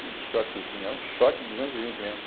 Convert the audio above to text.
Que choquezinho, é um choque duzentos e vinte mesmo.